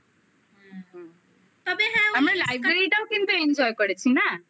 আমরা library টাও কিন্তু enjoy করেছি না